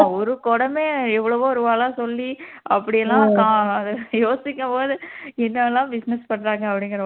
ஒரு குடமே எவ்வளவோ ரூபாலாம் சொல்லி அப்படியெல்லாம் கா யோசிக்கும் போது என்னவெல்லாம் business பண்றாங்க அப்படிங்கிற மாதிரி